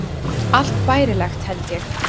Allt bærilegt, held ég.